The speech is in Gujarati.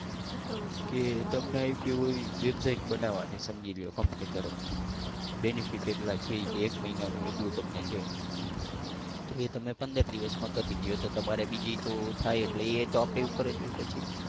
કે તમને આપી હોય website બનાવાની સમજી લો કંપની તરફથી. benefit એટલા છે એ કે એક મહિનાનું એટલું તમને છે એ તમે પંદર દિવસમાં કરી દયો તો તમારે બીજી તો થાય એટલે એ તો આપણી ઉપર જ હોય પછી.